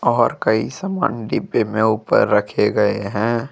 और कई सामान डिब्बे मे ऊपर रखे गए है।